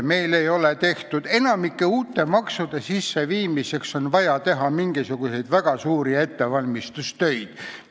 Enamiku uute maksude sisseviimiseks on vaja teha väga suuri ettevalmistustöid.